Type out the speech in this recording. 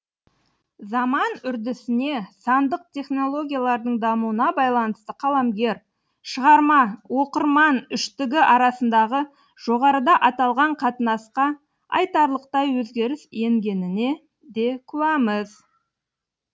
заман үрдісіне сандық технологиялардың дамуына байланысты қаламгер шығарма оқырман үштігі арасындағы жоғарыда аталған қатынасқа айтарлықтай өзгеріс енгеніне де куәміз